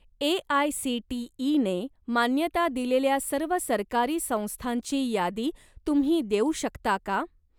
ए.आय.सी.टी.ई.ने मान्यता दिलेल्या सर्व सरकारी संस्थांची यादी तुम्ही देऊ शकता का?